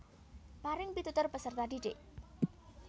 Paring pitutur peserta didik